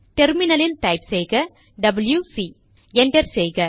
டெர்மினலில் டைப் செய்க WC enter செய்க